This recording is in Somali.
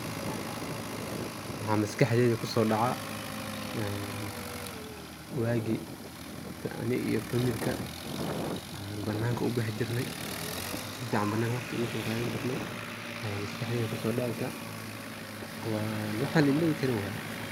maxaa maskaxdeyda kuso dhaca een waagi ani iyo familka an bananka ubixi jirnay sufican bananka waqti oguso qadani jirnay aya maskaxdeyda kuso dhaceeysa, een waxan la iloowi karin waye